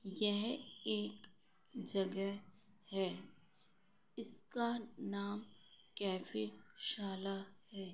यह एक जगह हैइसका नाम कैफ़े शाला है।